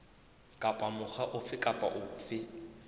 kapa mokga ofe kapa ofe